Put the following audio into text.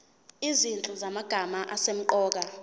izinhlu zamagama asemqoka